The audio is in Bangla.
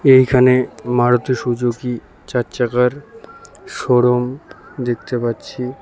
এইখানে মারুতি সুজুকি চার চাকার শোরুম দেখতে পাচ্ছি।